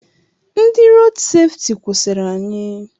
Ndị rood sefti kwụsịrị anyị.